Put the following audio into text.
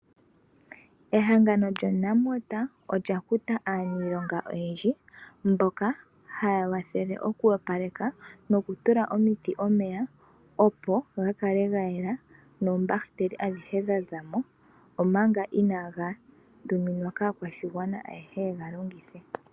Ehangano lyoNamwater olya kuta aaniilonga oyendji, mboka haya wathele okuwapaleka, nokutula omiti omeya, opo gakale gayela, noombahiteli adhihe dhazamo, omanga inaaga tuminwa kaakwashigwana ayehe yega longithe.